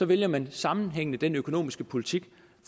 vælger man sammenhængende den økonomiske politik